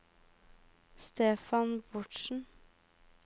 Stefan Bårdsen